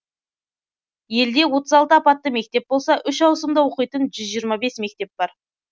елде апатты мектеп болса үш ауысымда оқитын жүз жиырма бес мектеп бар